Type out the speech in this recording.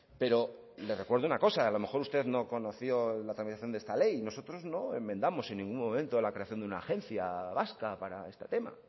pero le recuerdo una cosa a lo mejor usted no conoció la tramitación de esta ley nosotros no enmendamos en ningún momento la creación de una agencia vasca para este tema